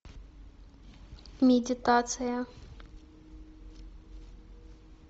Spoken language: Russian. медитация